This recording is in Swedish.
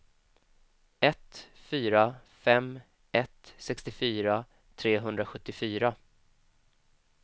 ett fyra fem ett sextiofyra trehundrasjuttiofyra